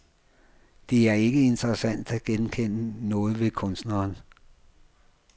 Det er ikke interessant at genkende noget ved kunstneren.